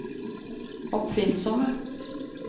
oppfinnsomme